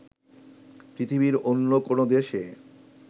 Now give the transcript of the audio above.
পৃথিবীর অন্য কোনো দেশে